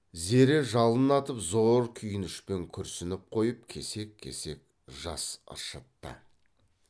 зере жалын атып зор күйінішпен күрсініп қойып кесек кесек жас ыршытты